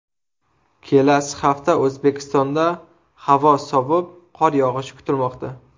Kelasi hafta O‘zbekistonda havo sovib, qor yog‘ishi kutilmoqda.